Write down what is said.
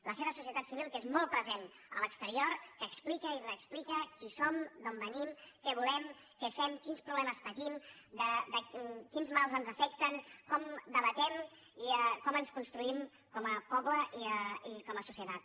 la seva societat civil que és molt present a l’exterior que explica i reexplica qui som d’on venim què volem què fem quins problemes patim quins mals ens afecten com debatem i com ens construïm com a poble i com a societat